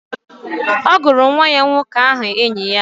Ọ gụrụ nwa ya nwoke aha enyi ya